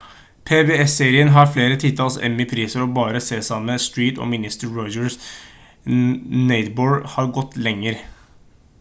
pbs-serien har flere titalls emmy-priser og bare sesame street og mister rogers' neighborhood har gått lenger